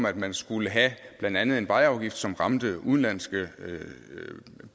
at man skulle have blandt andet en vejafgift som ramte udenlandske